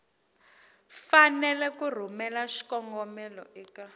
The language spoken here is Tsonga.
fanele ku rhumela xikombelo eka